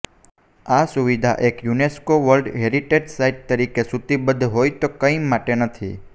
આ સુવિધા એક યુનેસ્કો વર્લ્ડ હેરિટેજ સાઈટ તરીકે સૂચિબદ્ધ હોય તો કંઇ માટે નથી